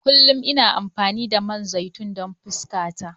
Kullum ina amfani da man zaitun don fuskata.